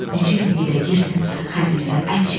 Necə yəni gedək, deyirsən xəzinədən əl çəkək?